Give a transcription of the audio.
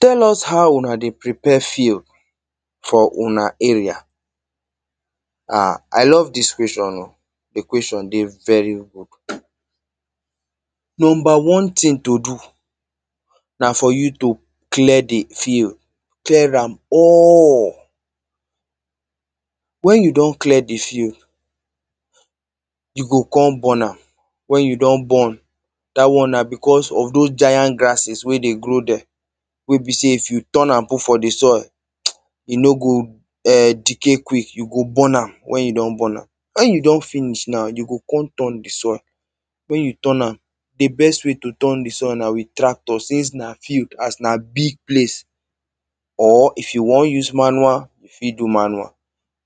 Tell us how una dey prepare field for una area. Ah! I love dis question o. The question dey very good. Number one thing to do na for you to clear the field. Clear am all. When you don clear the field, you go come burn am. When you don burn, dat one na because of those giant grasses wey dey grow there. wey be say if you turn am put for the soil, mtch, e no go eh, decay quick, you go burn am when you don burn am. When you don finish now, you go come turn the soil. When you turn am, the best way to turn the soil na with tractor since na field, as na big place. Or, if you wan use manual, you fit do manual.